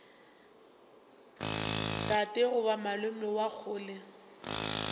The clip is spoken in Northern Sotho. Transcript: tate goba malome wa kgole